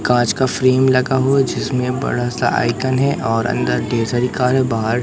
कांच का फ्रेम लगा हुआ जिसमें बड़ा सा आइकॉन है और अंदर केसरी कार है बाहर--